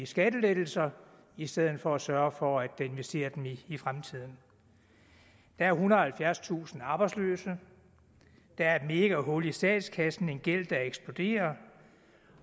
skattelettelser i stedet for at sørge for at investere i fremtiden der er ethundrede og halvfjerdstusind arbejdsløse der er et megahul i statskassen med en gæld der eksploderer